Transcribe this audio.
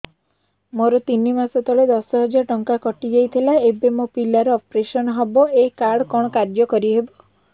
ମୋର ତିନି ମାସ ତଳେ ଦଶ ହଜାର ଟଙ୍କା କଟି ଯାଇଥିଲା ଏବେ ମୋ ପିଲା ର ଅପେରସନ ହବ ଏ କାର୍ଡ କଣ କାର୍ଯ୍ୟ କାରି ହବ